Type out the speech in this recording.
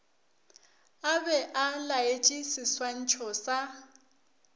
a be a laetšeseswantšho sa